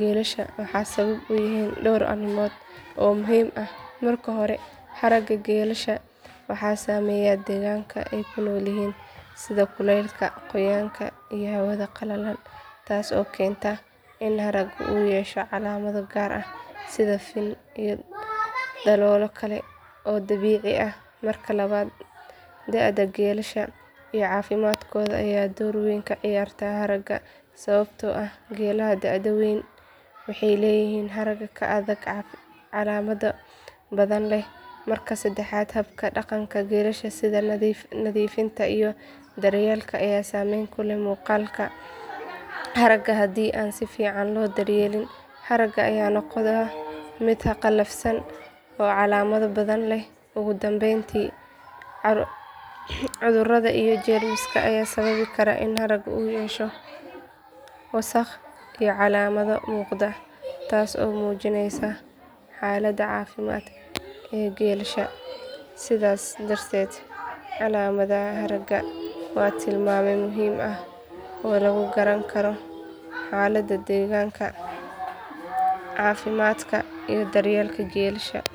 geelasha waxay sabab u yihiin dhowr arrimood oo muhiim ah marka hore haragga geelasha waxaa saameeya deegaanka ay ku nool yihiin sida kuleylka qoyaanka iyo hawada qalalan taas oo keenta in haragga uu yeesho calaamado gaar ah sida fin iyo daloolo kale oo dabiici ah marka labaad da'da geelasha iyo caafimaadkooda ayaa door weyn ka ciyaara haragga sababtoo ah geelaha da'da weyn waxay leeyihiin harag ka adag oo calaamado badan leh marka saddexaad habka dhaqanka geelasha sida nadiifinta iyo daryeelka ayaa saameyn ku leh muuqaalka haragga haddii aan si fiican loo daryeelin haragga ayaa noqda mid qallafsan oo calaamado badan leh ugu dambeyntiina cudurrada iyo jeermiska ayaa sababi kara in haragga uu yeesho wasakh iyo calaamado muuqda taas oo muujinaysa xaaladda caafimaad ee geelasha sidaas darteed calaamadaha haragga waa tilmaame muhiim ah oo lagu garan karo xaaladda deegaanka, caafimaadka iyo daryeelka geelasha.